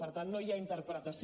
per tant no hi ha interpretació